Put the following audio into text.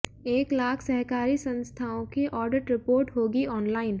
एक लाख सहकारी संस्थाओं की ऑडिट रिपोर्ट होगी ऑनलाइन